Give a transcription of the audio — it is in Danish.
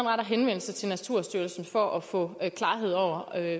retter henvendelse til naturstyrelsen for at få klarhed over